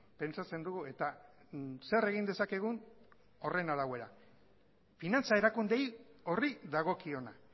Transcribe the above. pentsatzen dugu eta zer egin dezakegun horren arabera finantza erakunde horri dagokiona